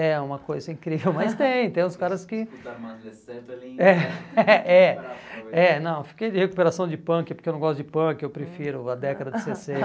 É uma coisa incrível, mas tem, tem uns caras que... é, é, é, É, não, fiquei de recuperação de punk porque eu não gosto de punk, eu prefiro a década de